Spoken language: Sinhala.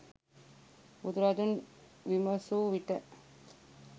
බුදුරදුන් විමසූ විට